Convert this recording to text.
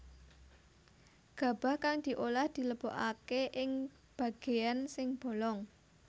Gabah kang diolah dilebokaké ing bagéan sing bolong